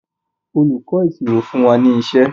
olùkó ìṣirò fún wá ní iṣé.